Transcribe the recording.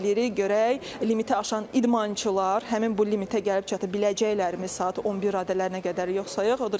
Görək limitə aşan idmançılar həmin bu limitə gəlib çata biləcəklərmi saat 11 radələrinə qədər, yoxsa yox.